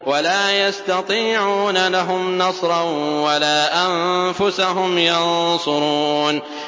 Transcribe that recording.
وَلَا يَسْتَطِيعُونَ لَهُمْ نَصْرًا وَلَا أَنفُسَهُمْ يَنصُرُونَ